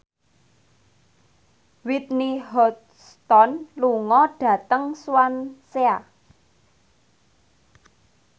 Whitney Houston lunga dhateng Swansea